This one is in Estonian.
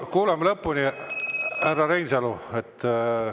Kuulame lõpuni, härra Reinsalu!